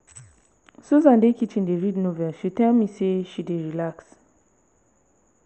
susan dey kitchen dey read novel she tell me say she dey relax